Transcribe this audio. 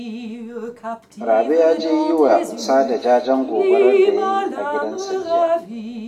Rabe ya je yi wa Sada jajen gobarar da ya yi a gidansa jiya